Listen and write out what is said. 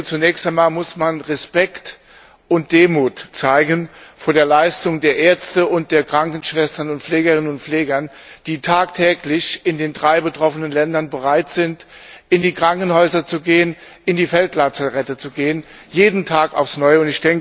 Zunächst einmal muss man Respekt und Demut vor der Leistung der Ärzte und Krankenschwestern und Pflegerinnen und Pfleger zeigen, die tagtäglich in den drei betroffenen Ländern bereit sind, in die Krankenhäuser zu gehen, in die Feldlazarette zu gehen jeden Tag aufs Neue.